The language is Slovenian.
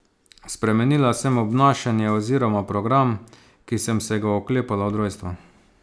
Spremenila sem obnašanje oziroma program, ki sem se ga oklepala od rojstva.